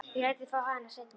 Ég læt þig fá hana seinna.